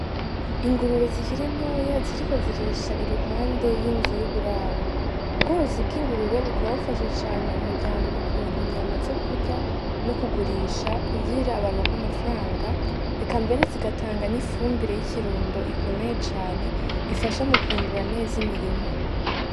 Ingurube zikira intoya ziriko zirisha iruhande y'inzu y'uburaro, ubworozi bw'ingurube ukaba bufasha cane umuryango mukuronka inyama zo kurya no kugurisha kugira abaronko amafuranga eka mbere zigatanganya'ifumbire y'ikirundo ikomeye cane ifasha mu kwimbura neza imirima.